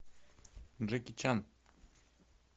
джеки чан